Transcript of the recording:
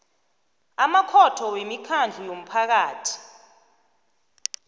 amakhotho wemikhandlu yomphakathi